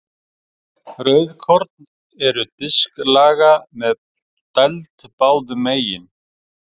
Rauðkorn eru disklaga með dæld báðum megin.